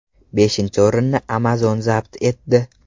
Beshinchi o‘rinni Amazon zabt etdi.